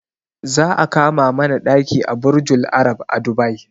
Za a kama mana ɗaki a burjul arab a dubai